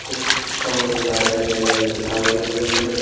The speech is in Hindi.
कुछ खम्भे लाइटें लगी दिखाई दे रही हैं।